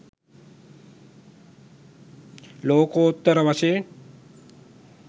ලෝකෝත්තර වශයෙන්